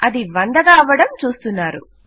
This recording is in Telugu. అది వందగా అవడం చూస్తున్నారు